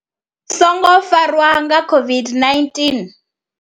songo farwa nga COVID-19.